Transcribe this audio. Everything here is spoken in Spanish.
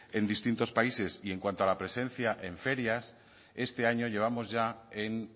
en distintos países y en cuanto a la presencia en ferias este año llevamos ya en